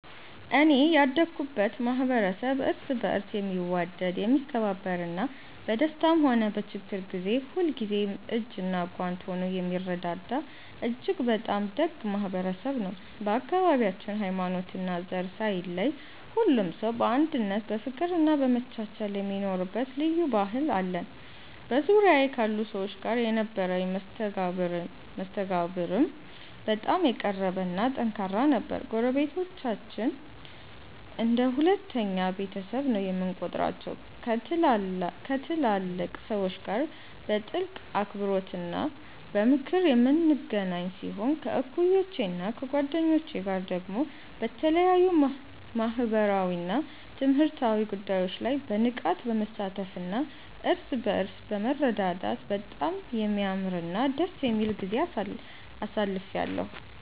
እኔ ያደኩበት ማኅበረሰብ እርስ በርስ የሚዋደድ፣ የሚከባበርና በደስታም ሆነ በችግር ጊዜ ሁልጊዜም እጅና ጓንት ሆኖ የሚረዳዳ እጅግ በጣም ደግ ማኅበረሰብ ነው። በአካባቢያችን ሃይማኖትና ዘር ሳይለይ ሁሉም ሰው በአንድነት በፍቅርና በመቻቻል የሚኖርበት ልዩ ባህል አለን። በዙሪያዬ ካሉ ሰዎች ጋር የነበረኝ መስተጋብርም በጣም የቀረበና ጠንካራ ነበር። ጎረቤቶቻችንን እንደ ሁለተኛ ቤተሰቤ ነው የምቆጥራቸው፤ ከትላልቅ ሰዎች ጋር በጥልቅ አክብሮትና በምክር የምንገናኝ ሲሆን፣ ከእኩዮቼና ከጓደኞቼ ጋር ደግሞ በተለያዩ ማኅበራዊና ትምህርታዊ ጉዳዮች ላይ በንቃት በመሳተፍና እርስ በርስ በመረዳዳት በጣም የሚያምርና ደስ የሚል ጊዜ አሳልፌአለሁ።